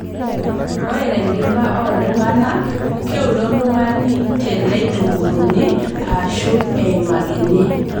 Ore tenkiba ooltung'ana, keure oltung'ani teneitukurruni aashu eimakini.